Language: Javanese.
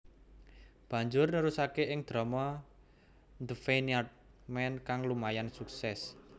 Banjur nerusake ing drama The Vineyard Man kang lumayan sukses